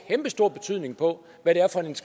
kæmpestor betydning for hvad det